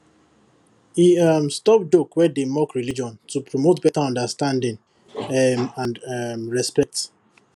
he um stop joke wey dey mock religion to promote better understanding um and um respect